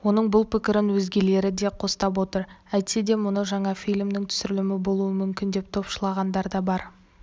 оның бұл пікірін өзгелері де қостап отыр әйтсе де мұны жаңа фильмнің түсірілімі болуы мүмкін деп топшылағандар да бар